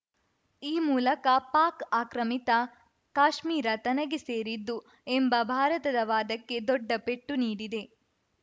ಈ ಮೂಲಕ ಪಾಕ್‌ ಆಕ್ರಮಿತ ಕಾಶ್ಮೀರ ತನಗೆ ಸೇರಿದ್ದು ಎಂಬ ಭಾರತದ ವಾದಕ್ಕೆ ದೊಡ್ಡ ಪೆಟ್ಟು ನೀಡಿದೆ